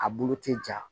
A bolo tɛ ja